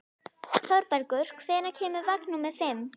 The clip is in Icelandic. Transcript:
Þorbergur, hvenær kemur vagn númer fimm?